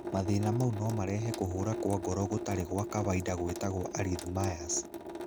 Mathĩna mau no marehe kũhũra kwa ngoro gũtarĩ gwa kawaid gwĩtagwo arrhythmias.